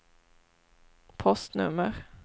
postnummer